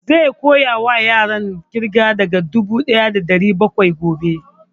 Zai koya wa yaran ƙirga daga dubu ɗaya da ɗari bakwai gobe